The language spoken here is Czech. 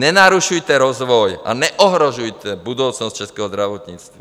Nenarušujte rozvoj a neohrožujte budoucnost českého zdravotnictví.